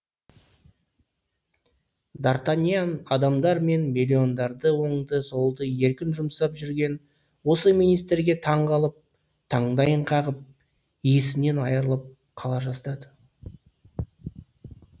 дартаниян адамдар мен миллиондарды оңды солды еркін жұмсап жүрген осы министрге таң қалып таңдайын қағып есінен айрылып қала жаздады